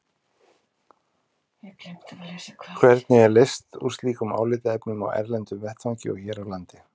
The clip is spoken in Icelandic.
Hvernig er leyst úr slíkum álitaefnum á erlendum vettvangi og hér á landi?